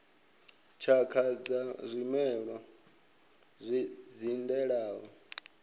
tshakha dza zwimela zwi dzindelaho